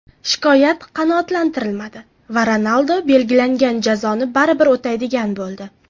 Shikoyat qanoatlantirilmadi va Ronaldu belgilangan jazoni baribir o‘taydigan bo‘ldi.